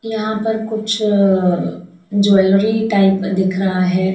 यहां पर कुछ अ ज्वेलरी टाइप दिख रहा है।